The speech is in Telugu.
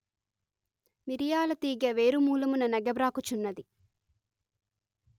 మిరియాల తీగె వేరుమూలమున నెగబ్రాకుచున్నది